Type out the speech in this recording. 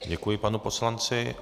Děkuji panu poslanci.